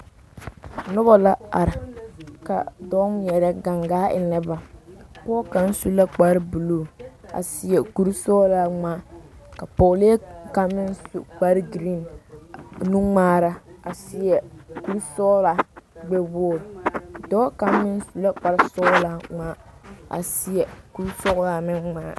Noba la are, ka dɔɔ ŋmɛre gangaa. enne a noba, pɔge kaŋa su la kparre buuluu a seɛ kur sɔglaa ŋmaa, ka pɛgele kaŋa. meŋ su kpare vaare nuŋmaara a seɛ kur sɔglaa gbɛ wogiri, dɔɔ kaŋa meŋ su la kpar sɔglaa a seɛ kur sɔglaa meŋ ŋmaa.